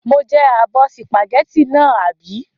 Mo jẹ abọ́ sìpàgẹ́tì náà, àbí?